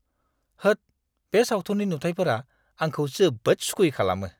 होद! बे सावथुननि नुथाइफोरा आंखौ जोबोद सुखुयै खालामो।